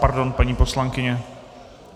Pardon, paní poslankyně.